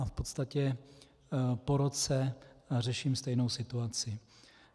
A v podstatě po roce řeším stejnou situaci.